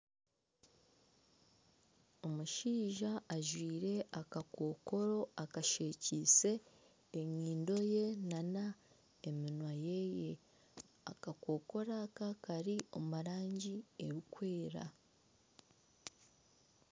Omushaija ajwaire akakokoro akashwekiise enyindo ye nana eminwa yeye akakokoro aka kari omurangi erikwera